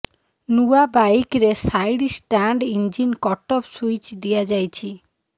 ନୂଆ ବାଇକରେ side stand engine cutoff switch ଦିଆଯାଇଛି